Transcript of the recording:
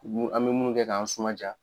an bɛ munnu kɛ k'an suma jaa.